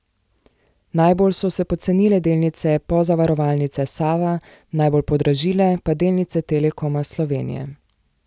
Najbolj so se pocenile delnice Pozavarovalnice Sava, najbolj podražile pa delnice Telekoma Slovenije.